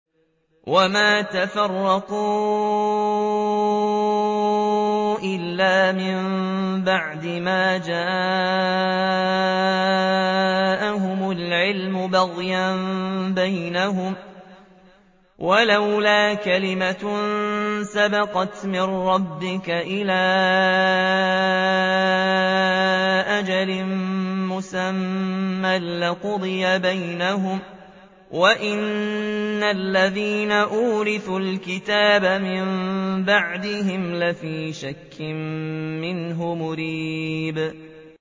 وَمَا تَفَرَّقُوا إِلَّا مِن بَعْدِ مَا جَاءَهُمُ الْعِلْمُ بَغْيًا بَيْنَهُمْ ۚ وَلَوْلَا كَلِمَةٌ سَبَقَتْ مِن رَّبِّكَ إِلَىٰ أَجَلٍ مُّسَمًّى لَّقُضِيَ بَيْنَهُمْ ۚ وَإِنَّ الَّذِينَ أُورِثُوا الْكِتَابَ مِن بَعْدِهِمْ لَفِي شَكٍّ مِّنْهُ مُرِيبٍ